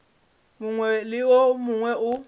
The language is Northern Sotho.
mongwe le wo mongwe o